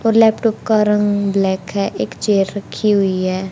और लैपटॉप का रंग ब्लैक है एक चेयर रखी हुई है।